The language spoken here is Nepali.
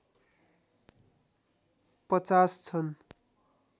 ५० छन्